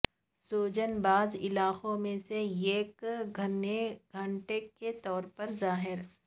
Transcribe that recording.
سوجن بعض علاقوں میں سے ایک گھنے گانٹھ کے طور پر ظاہر